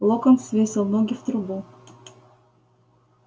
локонс свесил ноги в трубу